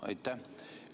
Aitäh!